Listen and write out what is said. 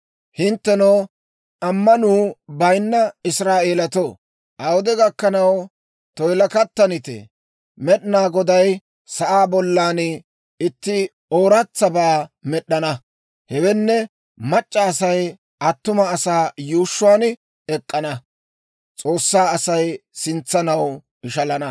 Hinttenoo, ammanuu bayinna Israa'eelatoo, awude gakkanaw toyilakattanitee? Med'inaa Goday sa'aa bollan itti ooratsabaa med'd'ana; hewenne, mac'c'a Asay attuma asaa yuushshuwaan ek'k'ana.»